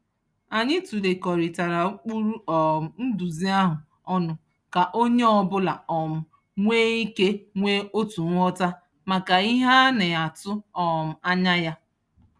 Anyị tụlekọrịtara ụkpụrụ um nduzi ahụ ọnụ ka onye ọbụla um nwee ike nwee otu nghọta maka ihe a na-atụ um anya ya.